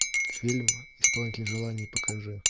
фильм исполнитель желаний покажи